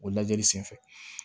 O lajɛli senfɛ